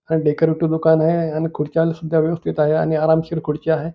Decorative दुकान आहे आणि खुर्च्या सुद्धा व्यवस्थित आहे आणि आरामशीर खुर्च्या आहे.